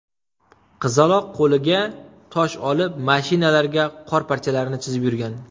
Qizaloq qo‘liga tosh olib, mashinalarga qor parchalarini chizib yurgan.